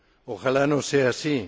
¡Ojalá no sea así!